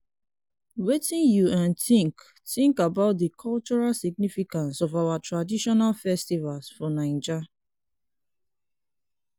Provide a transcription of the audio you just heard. wetin you um think think about di cultural significance of our traditional festivals for naija?